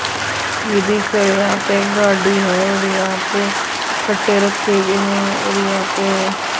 ये देख सकते हैं यहां पे एक गाड़ी है और यहां पे कट्टे रखे हुए हैं और यहां पे --